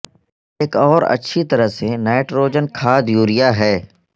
ایک اور اچھی طرح سے نائٹروجن کھاد یوریا ہے